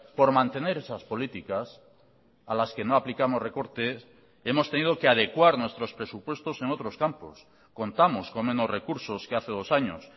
por mantener esas políticas a las que no aplicamos recortes hemos tenido que adecuar nuestros presupuestos en otros campos contamos con menos recursos que hace dos años